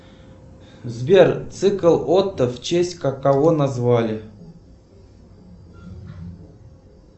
сбер цикл отто в честь кого назвали